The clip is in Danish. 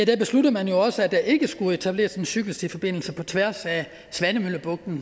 besluttede man også at der ikke skulle etableres en cykelstiforbindelse på tværs af svanemøllebugten